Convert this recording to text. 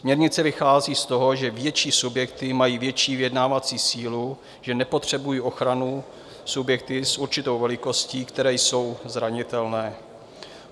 Směrnice vychází z toho, že větší subjekty mají větší vyjednávací sílu, že nepotřebují ochranu subjekty s určitou velikostí, které jsou zranitelné.